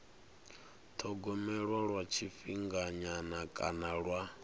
thogomelwa lwa tshifhinganyana kana lwa